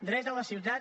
dret a la ciutat